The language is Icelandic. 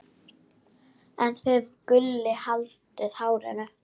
en þið Gulli haldið hárinu.